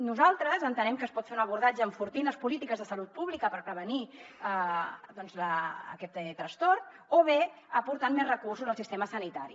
nosaltres entenem que es pot fer un abordatge enfortint les polítiques de salut pública per prevenir aquest trastorn o bé aportant més recursos al sistema sanitari